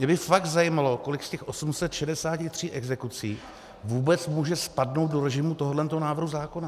Mě by fakt zajímalo, kolik z těch 863 exekucí vůbec může spadnout do režimu tohoto návrhu zákona.